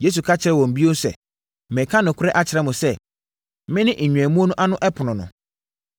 Yesu ka kyerɛɛ wɔn bio sɛ, “Mereka nokorɛ akyerɛ mo sɛ, mene nnwammuo no ano ɛpono no.